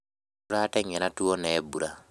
Tũrateng'era tuona mbura